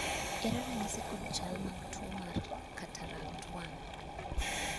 ere ranyisi kod chal mag tuo mar tuo mar katarakt 1?